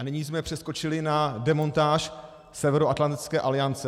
A nyní jsme přeskočili na demontáž Severoatlantické aliance.